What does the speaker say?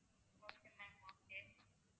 okay ma'am okay